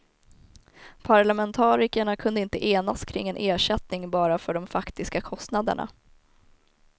Parlamentarikerna kunde inte enas kring en ersättning bara för de faktiska kostnaderna.